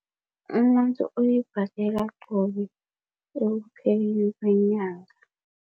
Umuntu uyibhadela qobe ekupheleni kwenyanga.